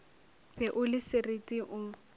be o le sereti o